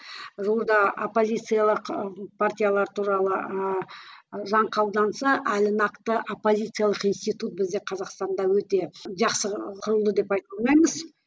жуырда оппозициялық партиялар туралы ыыы заң қабылданса әлі нақты оппозициялық институт бізде қазақстанда өте жақсы құрылды деп айта алмаймыз